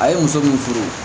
A ye muso min furu